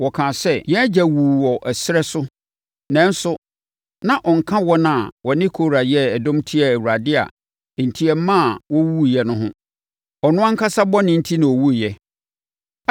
Wɔkaa sɛ, “Yɛn agya wuu ɛserɛ so nanso na ɔnka wɔn a wɔne Kora yɛɛ dɔm tiaa Awurade a enti ɛmaa wɔwuwuiɛ no ho. Ɔno ankasa bɔne enti na ɔwuiɛ.